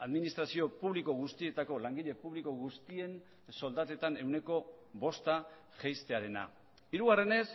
administrazio publiko guztietako langile publiko guztien soldatetan ehuneko bosta jaistearena hirugarrenez